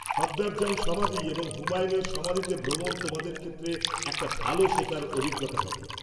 -সফদরজং সমাধি এবং হুমায়ুনের সমাধিতে ভ্রমণ তোমাদের ক্ষেত্রে একটা ভালো শেখার অভিজ্ঞতা হবে।